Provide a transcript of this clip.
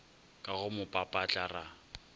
ka go mo papatla ra